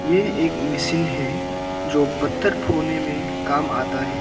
ये एक मिशीन है जो पत्थर फोड़ने में काम आता है।